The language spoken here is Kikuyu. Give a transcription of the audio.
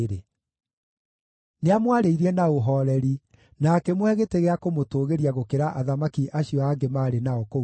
Nĩamwarĩirie na ũhooreri, na akĩmũhe gĩtĩ gĩa kũmũtũgĩria gũkĩra athamaki acio angĩ maarĩ nao kũu Babuloni.